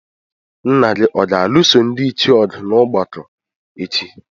Nna gị ọ̀ ga-alụso ndị ichie ọgụ n’ọgbakọ echi?